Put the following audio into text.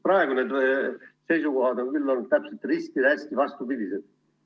Praegused seisukohad on täpselt risti vastupidised.